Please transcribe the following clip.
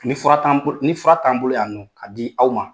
Ni fura t'an ni fura t'an bolo y'a nɔ k'a di aw ma.